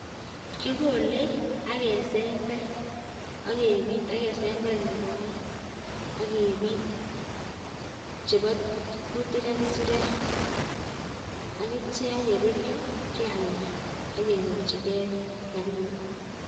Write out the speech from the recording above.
Kikole ak kesember ak kebit ak kesember nebo oeng ak kebit chebo kutik ak kisirek ak yeruryo kealda kenyor rabinik